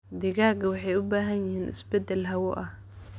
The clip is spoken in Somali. Digaagga waxay u baahan yihiin isbeddel hawo ah.